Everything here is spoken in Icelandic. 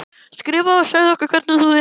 Skrifaðu og segðu okkur hvernig þú hefur það.